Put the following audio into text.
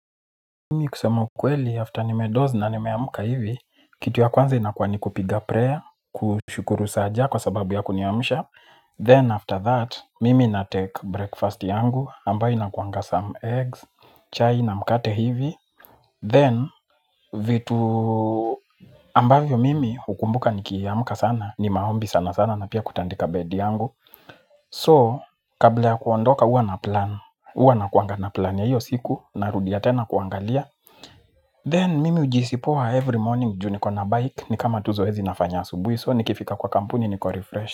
Mimi kusema ukweli after nimedozi na nimeamuka hivi. Kitu ya kwanza inakwa ni kupiga prayer. Kuchukuru saaja kwa sababu ya kuniamisha Then after that, mimi na take breakfast yangu ambayo inakuanga some eggs, chai na mkate hivi Then, vitu ambayo mimi hukumbuka nikiamuka sana ni maombi sana sana na pia kutandika bedi yangu So, kabla ya kuondoka uwa na plan huwa nakuanga na plan ya iyo siku narudia tena kuangalia Then mimi ujiisi poa every morning juu niko na bike ni kama tu zoezi nafanya asubui So nikifika kwa kampuni niko refresh.